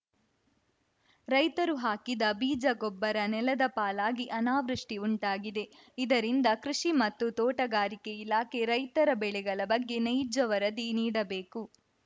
ರೈತರು ಹಾಕಿದ ಬೀಜ ಗೊಬ್ಬರ ನೆಲದ ಪಾಲಾಗಿ ಅನಾವೃಷ್ಟಿಉಂಟಾಗಿದೆ ಇದರಿಂದ ಕೃಷಿ ಮತ್ತು ತೋಟಗಾರಿಕೆ ಇಲಾಖೆ ರೈತರ ಬೆಳೆಗಳ ಬಗ್ಗೆ ನೈಜ ವರದಿ ನೀಡಬೇಕು